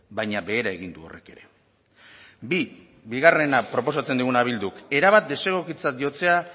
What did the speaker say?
baina behera egin du horrek ere bi bigarrena proposatzen diguna bilduk erabat desegokitzat jotzea